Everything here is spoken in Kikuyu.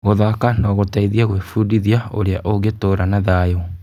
Gũthaka no gũteithie gwĩbundithia ũrĩa ũngĩtũũra na thayũ.